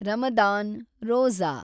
Ramadan, Roja